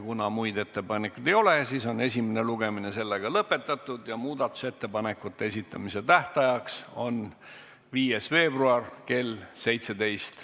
Kuna muid ettepanekuid ei ole, siis on esimene lugemine lõpetatud ja muudatusettepanekute esitamise tähtajaks on 5. veebruar kell 17.